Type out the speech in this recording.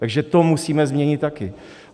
Takže to musíme změnit taky.